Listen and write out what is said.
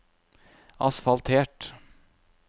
asfaltert